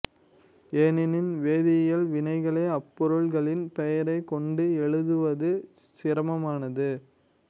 ஏனெனில் வேதியியல் வினைகளை அப்பொருள்களின் பெயரைக் கொண்டு எழுதுவது சிரமமானது